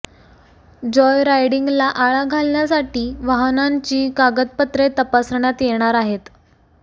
Joy रायडिंगला आळा घालण्यासाठी वाहनांची कागदपत्रे तपासण्यात येणार आहेत